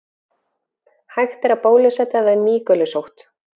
Hægt er að bólusetja við mýgulusótt.